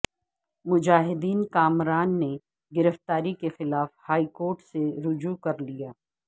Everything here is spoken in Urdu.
مجاہد کامران نے گرفتاری کیخلاف ہائی کورٹ سے رجوع کرلیا